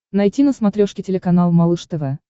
найти на смотрешке телеканал малыш тв